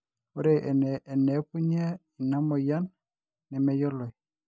ore eneepunye inamoyian nemeyioloi